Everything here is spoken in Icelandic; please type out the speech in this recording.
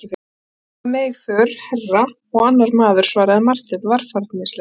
Sonur minn er með í för herra, og annar maður, svaraði Marteinn varfærnislega.